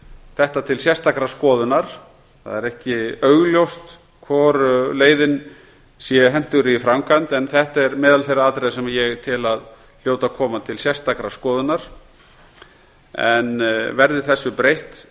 þetta til sérstakrar skoðunar það er ekki augljóst hvor leiðin sé hentugri í framkvæmd en þetta er meðal þeirra atriða sem ég tel að hljóti að koma til sérstakrar skoðunar verði þessu breytt